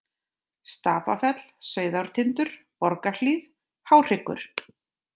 Stapafell, Sauðártindur, Borgarhlíð, Háhryggur